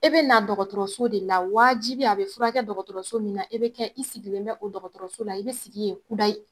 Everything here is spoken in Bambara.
E bɛ na dɔgɔtɔrɔso de la waajibi a bɛ furakɛ dɔgɔtɔrɔso min na e be kɛ i sigilen bɛ o dɔgɔtɔrɔso la i bɛ sigi ye kudayi.